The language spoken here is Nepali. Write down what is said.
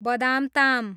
बदामताम